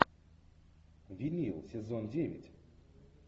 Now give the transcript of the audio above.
винил сезон девять